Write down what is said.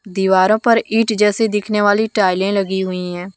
दीवारों पर ईंट जैसी दिखने वाली टाइलें लगी हुई है।